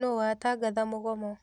Nũ watangatha mũgomo?